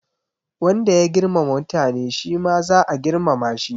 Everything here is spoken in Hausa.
Wanda ya girmama mutane shi ma za a girmama shi